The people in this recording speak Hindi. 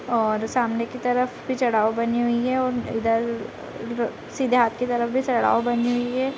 और सामने की तरफ भी चढ़ाव बनी हुई है और इधर सीधे हाथ की तरफ भी चढ़ाव बनी हुई है |